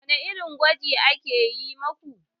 Wani irin gwaji aka yi maku?